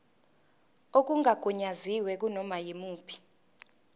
okungagunyaziwe kunoma yimuphi